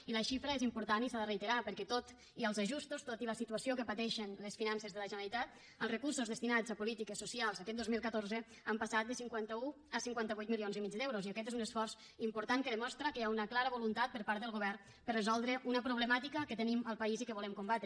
i la xifra és important i s’ha de reiterar perquè tot i els ajustos tot i la situació que pateixen les finances de la generalitat els recursos destinats a polítiques socials aquest dos mil catorze han passat de cinquanta un a cinquanta vuit milions i mig d’euros i aquest és un esforç important que demostra que hi ha una clara voluntat per part del govern de resoldre una problemàtica que tenim al país i que volem combatre